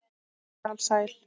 Hún er alsæl.